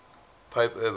pope urban